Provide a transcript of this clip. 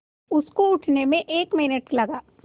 उसको उठने में एक मिनट लगा